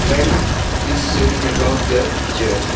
Men is seen above the chair.